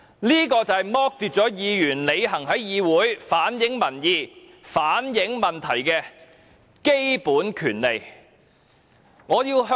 這就是剝奪議員履行在議會反映民意、反映問題的基本權利。